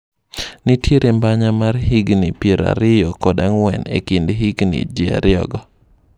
Nitiere mbanya mar higni piero ariyo kod ang'wen ekind hiikgi ji ariyo go.